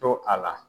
To a la